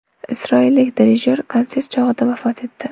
Isroillik dirijyor konsert chog‘ida vafot etdi.